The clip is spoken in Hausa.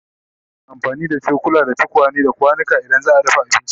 Ana amfani da cokula, tukwane, da kwanuka idan za'a dafa abinci